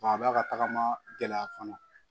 A b'a ka tagama gɛlɛya fana